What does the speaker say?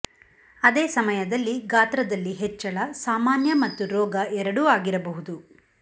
ಅದೇ ಸಮಯದಲ್ಲಿ ಗಾತ್ರದಲ್ಲಿ ಹೆಚ್ಚಳ ಸಾಮಾನ್ಯ ಮತ್ತು ರೋಗ ಎರಡೂ ಆಗಿರಬಹುದು